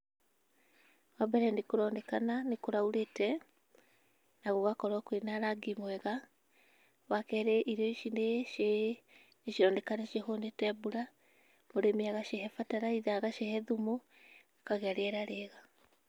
Wambere nĩkũroneka nĩ kũraurĩte na nagũgakorwo kwĩna rangi mwega. Wakerĩ irio ici nĩcironeka nĩcihũnĩte mbura mũrĩmi agacihe bataraitha, agacihe thumu gũkagĩa na rĩera rĩega.